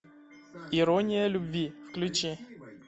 ирония любви включи